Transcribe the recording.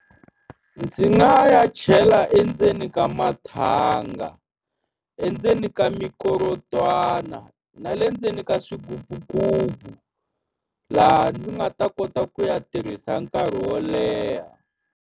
Ndzi nga ya chela endzeni ka mathangi, endzeni ka mikorotwana na le ndzeni ka swigububugubu, laha ndzi nga ta kota ku ya tirhisa nkarhi wo leha.